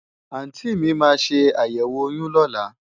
Àùntí mi máa ṣe àyẹ̀wò oyún lọ́la.